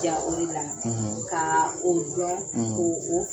I b'i jija o dela kaa o don ko